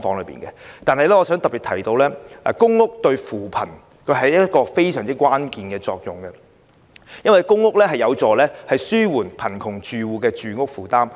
然而，我想特別提出的是公屋對扶貧起着非常關鍵的作用，因為公屋有助紓緩貧窮住戶的住屋負擔。